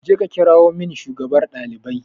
Je ka kirawo min shugabar ɗalibai